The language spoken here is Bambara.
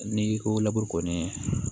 N'i ko laburu kɔni